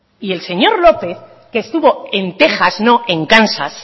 y el señor lópez que estuvo en texas no en kansas